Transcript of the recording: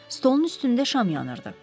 Stolun üstündə şam yanırdı.